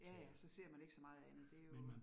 Ja ja, så ser man ikke så meget andet. Det jo